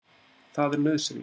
Það er nauðsynlegt